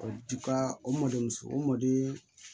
O dipa o mɔden muso o maden